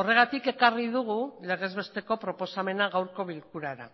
horregatik ekarri dugu legez besteko proposamena gaurko bilkurara